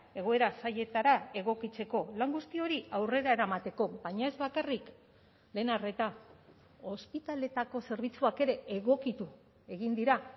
egoera zailetara egokitzeko lan guzti hori aurrera eramateko baina ez bakarrik lehen arreta ospitaletako zerbitzuak ere egokitu egin dira